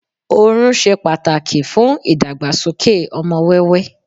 orun se pàtàkì fún ìdàgbàsókè ọmọ wẹwẹ